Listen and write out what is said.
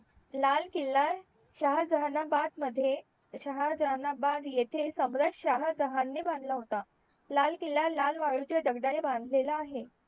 लाल किला शाहाजहानाबाद मध्ये शाहाजहानाबाद येथे सम्राट शहाजहान ने बांधला होता लाल किला लाल वाळुच्या दगडाने बांदलेला आहे